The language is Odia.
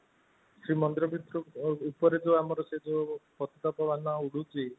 ଶ୍ରୀ ମନ୍ଦିର ଭିତରକୁ ଉପରେ ଆମର ସେ ଯୋଉ ପତାକା ବାନା ଉଡୁଛି